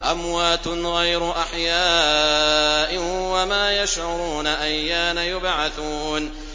أَمْوَاتٌ غَيْرُ أَحْيَاءٍ ۖ وَمَا يَشْعُرُونَ أَيَّانَ يُبْعَثُونَ